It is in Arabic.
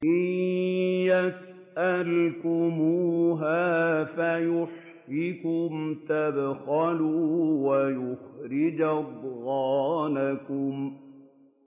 إِن يَسْأَلْكُمُوهَا فَيُحْفِكُمْ تَبْخَلُوا وَيُخْرِجْ أَضْغَانَكُمْ